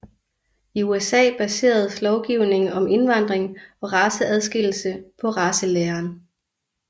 I USA baseredes lovgivning om indvandring og raceadskillelse på racelæren